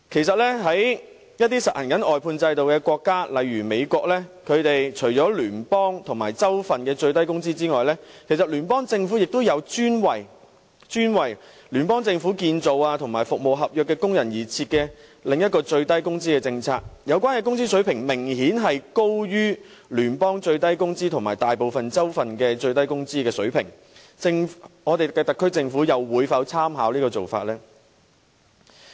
在一些實行外判制度的國家，例如美國，除了聯邦政府和各州份的最低工資之外，聯邦政府亦有專為建造工程和服務合約的工人而設的另一項最低工資政策，有關工資水平明顯高於聯邦最低工資和大部分州份的最低工資，我們的特區政府會否參考這個做法呢？